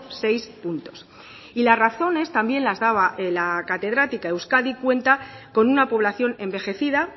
seis puntos y las razones también las daba la catedrática euskadi cuenta con una población envejecida